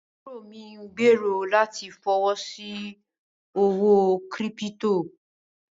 ábúró mí n gbẹ̀rọ̀ láti fọwọ́ sí owó kírípítò.